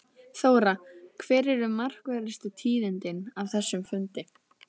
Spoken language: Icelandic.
Þóra, hver eru markverðustu tíðindin af þessum fundi?